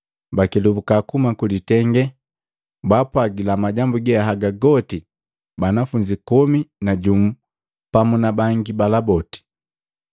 pabakelubuka kuhuma kwi litenge, baapwagila majambu ge haga goti banafunzi komi na jumu pamu na bangi bala boti.